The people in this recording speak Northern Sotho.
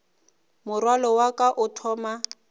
morwalo wa ka o thoma